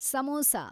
samosa